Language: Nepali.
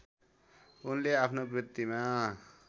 उनले आफ्नो वृत्तिमा